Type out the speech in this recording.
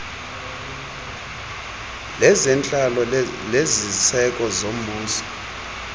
lezentlalo leziseko zombuso